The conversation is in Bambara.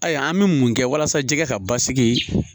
Ayi an be mun kɛ walasa jɛgɛ ka basigi